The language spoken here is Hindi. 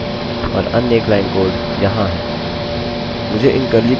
मुझे इन कर्ली कोष्ठकों से छुटकारा मिल सकता है